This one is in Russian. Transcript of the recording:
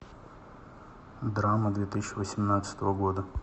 драма две тысячи восемнадцатого года